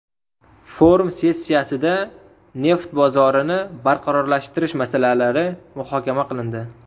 Forum sessiyasida neft bozorini barqarorlashtirish masalalari muhokama qilindi.